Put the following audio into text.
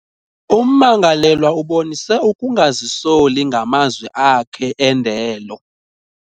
Ummangalelwa ubonise ukungazisoli ngamazwi akhe endelo.